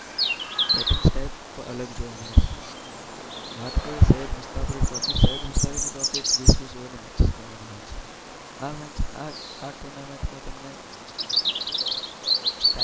Batting type અલગ જોવા મળે છે. વાત કરીએ સૈયદ મુસ્તાક અલી ટ્રોફીની તો મુસ્તાક અલી ટ્રોફી એક વીસ-વીસ ઓવરની મેચિસ ગણવામાં આવે છે. આ મેચ આ ટુર્નામેન્ટમાં તમને